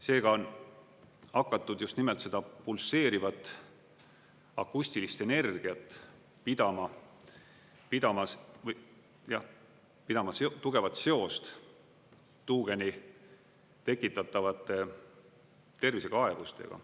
Seega on hakatud just nimelt seda pulseerivat akustilist energiat pidama tugevat seost tuugeni tekitatavate tervisekaebustega.